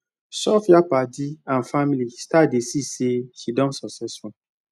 sophia padi and family start to dey see say she don successful